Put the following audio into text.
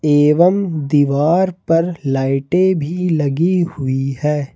एवं दीवार पर लाइटे भी लगी हुई है।